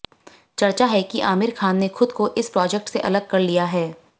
चर्चा है कि आमिर खान ने खुद को इस प्रोजेक्ट से अलग कर लिया है